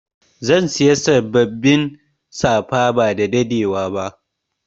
Zan Siya sabbabin safa ba dadadewa ba.